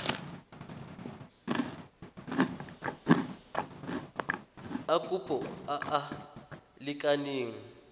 a kopo a a lekaneng